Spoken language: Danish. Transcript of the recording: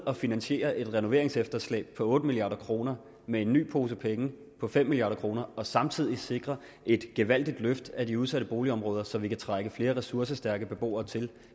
at finansiere et renoveringsefterslæb på otte milliard kroner med en ny pose penge på fem milliard kroner og samtidig sikre et gevaldigt løft af de udsatte boligområder så man kan trække flere ressourcestærke beboere til